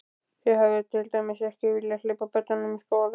Þið hafið til dæmis ekki viljað hleypa börnunum í skólann?